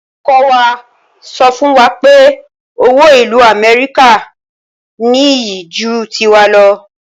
Olùkọ wa sọ fún wa pé owó ìlú amẹ́ríkà ní iyì ju tiwa lọ